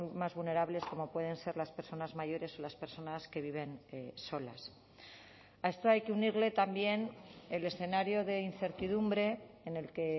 más vulnerables como pueden ser las personas mayores o las personas que viven solas a esto hay que unirle también el escenario de incertidumbre en el que